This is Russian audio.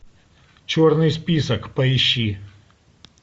черный список поищи